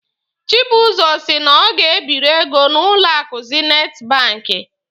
Chibuzo si na ọ ga-ebiri ego n'ụlọ akụ zinit banki.